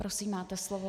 Prosím máte slovo.